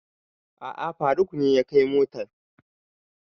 A'a faruk ne ya kai motan